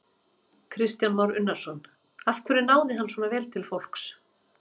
Kristján Már Unnarsson: Af hverju náði hann svona vel til fólks?